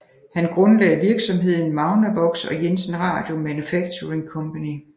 Han grundlagde virksomheden Magnavox og Jensen Radio Manufacturing Company